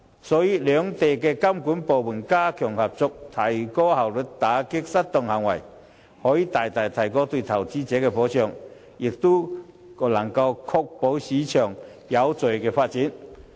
所以，兩地監管部門加強合作，提高效率打擊失當行為，可以大大提高對投資者的保障，亦可確保市場有序地發展。